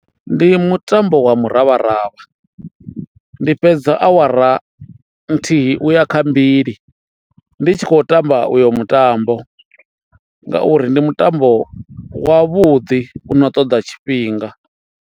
Ndi mutambo wa muravharavha ndi fhedza awara nthihi uya kha mbili ndi tshi khou tamba uyo mutambo ngauri ndi mutambo wa vhuḓi u no ṱoḓa tshifhinga.